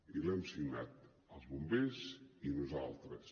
i l’hem signat els bombers i nosaltres